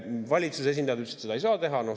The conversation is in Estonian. Valitsuse esindajad ütlesid, et seda ei saa teha.